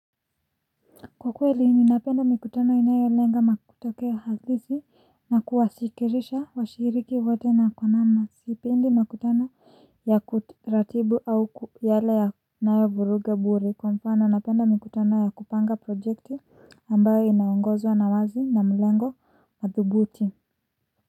Kwa kweli ni napenda mikutano inayo lenga na kutolea hadithi na kuwasikirisha washiriki wake na kwa na sipendi mikutano ya kiu taratibu au ku yale yanayo vuruga bure kwa mfano napenda mikutano ya kupanga projekti ambayo inaungozwa na wazi na mlengo wa thubuti.